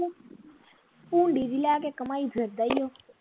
ਭੂੰਡੀ ਜੀ ਲੈ ਕੇ ਘੁੰਮਾਈ ਫਿਰਦਾ ਈ ਓ